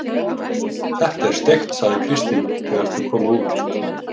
Þetta var steikt, sagði Kristín þegar þau komu út.